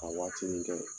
Ka waatinin kɛ